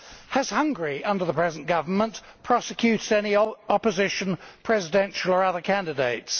Has Hungary, under the present government, prosecuted any opposition, presidential or other candidates?